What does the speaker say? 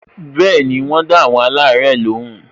Bẹẹni, wọn o da awon alare lóhùn